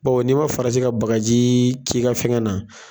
Bawo, n'i ma farati ka bagaji k'i ka fɛnkɛ na.